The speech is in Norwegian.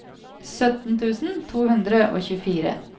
sytten tusen to hundre og tjuefire